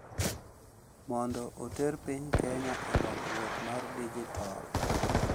Mondo oter piny Kenya e lokruok mar dijitol